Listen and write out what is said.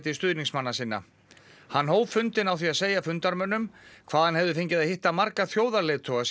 hann hóf fundinn á því að segja fundarmönnum hvað hann hefði fengið að hitta marga þjóðarleiðtoga síðan hann tók við embætti